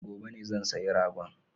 Gobe ne zan sayi ragon